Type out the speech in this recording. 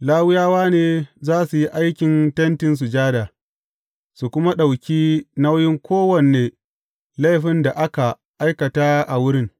Lawiyawa ne za su yi aikin Tentin Sujada, su kuma ɗauki nauyin kowane laifin da aka aikata a wurin.